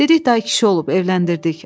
Dedilər kişi olub, evləndirdik.